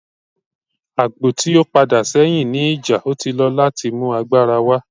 Agbo ti o pada sẹhin ni ija, o ti lọ lati mu agbara wa.